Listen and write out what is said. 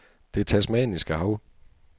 Det Tasmaniske Hav